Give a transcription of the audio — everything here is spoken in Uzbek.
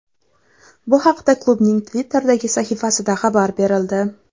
Bu haqda klubning Twitter’dagi sahifasida xabar berildi.